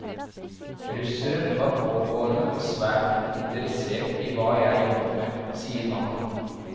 Russeren var pågående og svært interessert i hva jeg jobbet med, sier mannen.